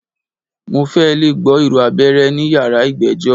Mo fẹ́ lẹ̀ gbọ́ ìró abẹ́rẹ́ ní yàrá ìgbẹ́jọ́.